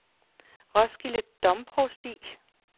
Roskilde Domprovsti